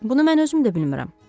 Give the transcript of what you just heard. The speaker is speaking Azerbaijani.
Bunu mən özüm də bilmirəm.